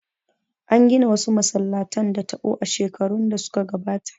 An gina wasu masallatan da taɓo a shekarun da suka gabata